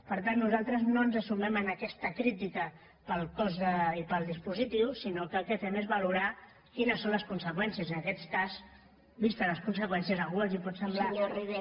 per tant nosaltres no ens sumem a aquesta crítica pel cost i pel dispositiu sinó que el que fem és valorar quines són les conseqüències i en aquest cas vistes les conseqüències a algú li pot semblar